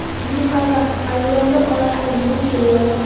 Rim papasi ayollar oyog‘ini yuvib qo‘yadi.